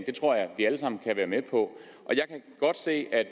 det tror jeg vi alle sammen kan være med på og jeg kan godt se at